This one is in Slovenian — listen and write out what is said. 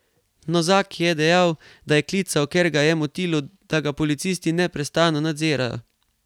Nozaki je dejal, da je klical, ker ga je motilo, da ga policisti neprestano nadzirajo.